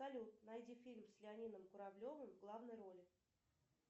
салют найди фильм с леонидом куравлевым в главной роли